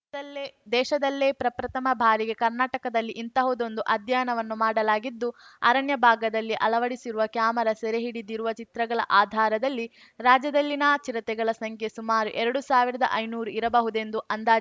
ದಲ್ಲೇ ದೇಶದಲ್ಲೇ ಪ್ರಪ್ರಥಮ ಬಾರಿಗೆ ಕರ್ನಾಟಕದಲ್ಲಿ ಇಂತಹುದೊಂದು ಅಧ್ಯಯನವನ್ನು ಮಾಡಲಾಗಿದ್ದು ಅರಣ್ಯ ಭಾಗದಲ್ಲಿ ಅಳವಡಿಸಿರುವ ಕ್ಯಾಮೆರಾ ಸೆರೆಹಿಡಿದಿರುವ ಚಿತ್ರಗಳ ಆಧಾರದಲ್ಲಿ ರಾಜ್ಯದಲ್ಲಿನ ಚಿರತೆಗಳ ಸಂಖ್ಯೆ ಸುಮಾರು ಎರಡು ಸಾವಿರದಐನೂರು ಇರಬಹುದೆಂದು ಅಂದಾಜ್